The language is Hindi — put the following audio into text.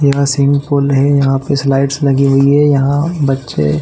यहाँ सस्विमिंग पूल है यहाँ पे कुछ लाइट्स लगी हुई है यहाँ बच्चे--